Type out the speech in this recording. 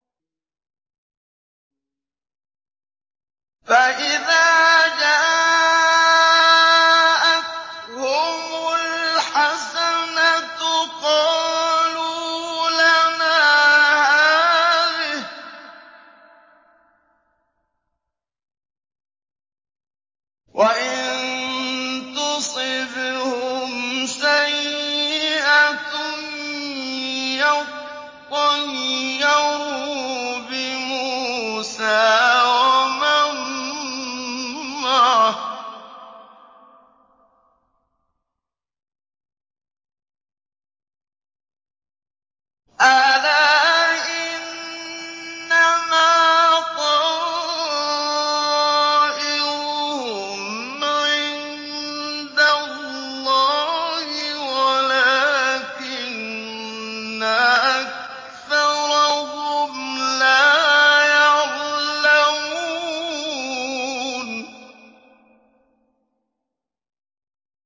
فَإِذَا جَاءَتْهُمُ الْحَسَنَةُ قَالُوا لَنَا هَٰذِهِ ۖ وَإِن تُصِبْهُمْ سَيِّئَةٌ يَطَّيَّرُوا بِمُوسَىٰ وَمَن مَّعَهُ ۗ أَلَا إِنَّمَا طَائِرُهُمْ عِندَ اللَّهِ وَلَٰكِنَّ أَكْثَرَهُمْ لَا يَعْلَمُونَ